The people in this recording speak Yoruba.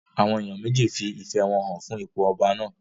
Àwọn èèyàn méjì fi ìfẹ́ wọn hàn fún ipò ọba náà